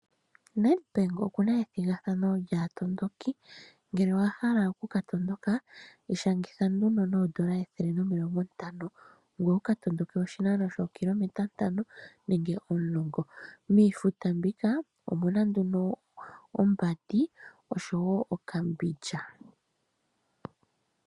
Nedbank oku na ethigathano lyaatondoki, ngele owa hala oku ka tondoka, ishangitha nduno noodola ethele nomilongo ntano, ngoye wu ka tondoke oshinano shookilometa ntano nenge omulongo. Miifuta mbika omu na nduno ombandi, osho wo okambindja.